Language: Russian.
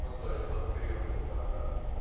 ну то есть фотопериодные сорта